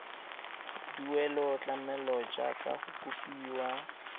duela tlamelo jaaka go kopiwa